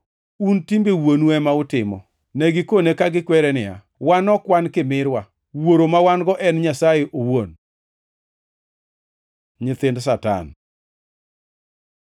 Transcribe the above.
Un timbe wuonu ema utimo.” Ne gikone ka gikwere niya, “Wan ok wan kimirwa. Wuoro ma wan-go en Nyasaye owuon.” Nyithind Satan